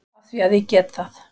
Af því að ég get það.